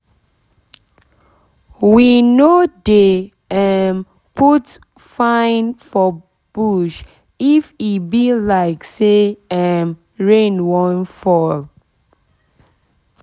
we no dey um put fine for bush if e be like say um rain wan fall